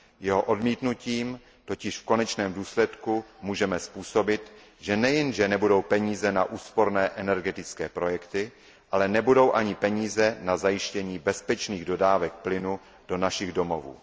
Jeho odmítnutím totiž v konečném důsledku můžeme způsobit, že nejen že nebudou peníze na úsporné energetické projekty, ale nebudou ani peníze na zajištění bezpečných dodávek plynu do našich domovů.